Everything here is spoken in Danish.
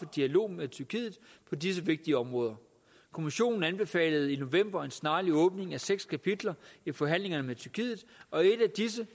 dialog med tyrkiet på disse vigtige områder kommissionen anbefalede i november en snarlig åbning af seks kapitler i forhandlingerne med tyrkiet og et af disse